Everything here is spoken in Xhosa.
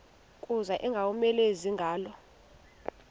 kuza ingowomeleleyo ingalo